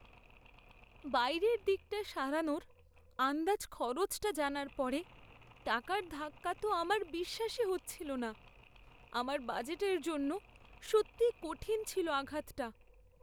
বাইরের দিকটা সারানোর আন্দাজ খরচটা জানার পরে টাকার ধাক্কা তো আমার বিশ্বাসই হচ্ছিল না। আমার বাজেটের জন্য সত্যিই কঠিন ছিল আঘাতটা।